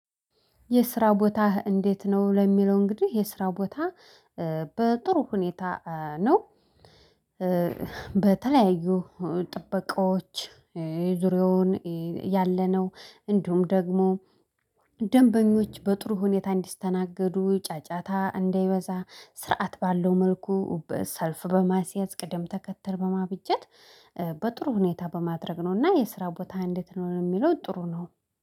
የስራ ቦታህ እንዴት ነው? ለሚለው እንግዲህ የስራ ቦታ በጥሩ ሁኔታ ነው። በተለያዩ ጥበቃዎች ዙሪያውን ያለነው እንዲሁም ደግሞ ደንበኞች በጥሩ ሁኔታ እንዲስተናገዱ ጫጫታ እንዳይበዛ ስርዓት ባለው መልኩ ሰልፍ በማስያዝ ቅደም ተከተል በማብጀት። በጥሩ ሁኔታ በማድረግ ነውና የስራ ቦታ እንዴት ነው? የሚለው ጥሩ ነው